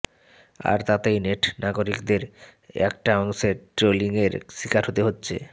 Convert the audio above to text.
আর তাতেই নেট নাগরিকদের একটা অংশের ট্রোলিংয়ের শিকার হতে হচ্ছে